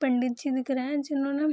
पंडित जी दिख रहें हैं जिन्होंने --